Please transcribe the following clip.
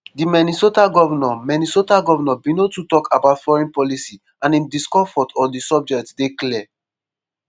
di minnesota govnor minnesota govnor bin no too tok about foreign policy and im discomfort on di subject dey clear.